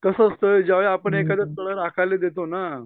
कस असतं ज्यावेळी आपण एखाद तळ राखायला देतो ना